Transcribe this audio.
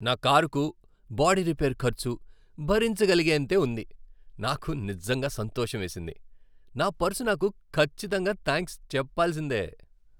నా కారుకు body repair ఖర్చు భరించగలిగేంతే ఉంది, నాకు నిజంగా సంతోషమేసింది, నా పర్సు నాకు ఖచ్చితంగా థాంక్స్ చెప్పాల్సిందే!